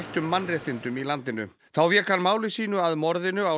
mannréttindum í landinu þá vék hann máli sínu að morðinu á